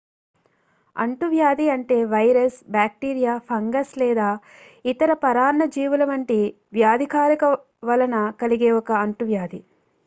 అంటువ్యాధి అంటే virus bacteria fungus లేదా ఇతర పరాన్న జీవుల వంటి వ్యాధికారక వలన కలిగే ఒక అంటు వ్యాధి